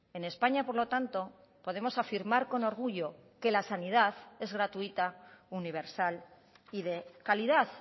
en españa por lo tanto podemos afirmar con orgullo que la sanidad es gratuita universal y de calidad